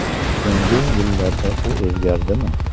So‘nggi yillarda u o‘zgardimi?